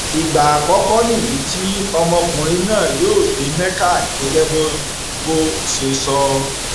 ìgbà àkọkọ nìyí tí ọmọkùnrin náà yóò dé mecca gẹgẹ bó bó ṣe sọ